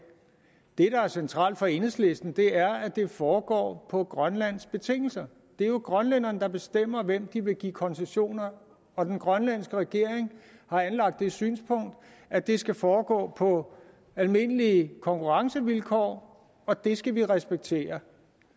der er centralt for enhedslisten er at det foregår på grønlands betingelser det er jo grønlænderne der bestemmer hvem de vil give koncessioner og den grønlandske regering har anlagt det synspunkt at det skal foregå på almindelige konkurrencevilkår og det skal vi respektere